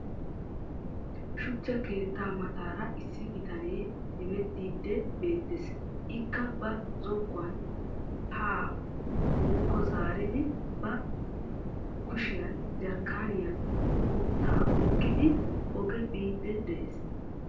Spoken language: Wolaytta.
Shuchcha keettaa mataara issi bitanee hemetiidi beettees. Ikka ba zokkuwa haa nuukko zaaridi qassi ba kushiyan jarkaaniya guuttaa oyqidi oge biidi de'ees.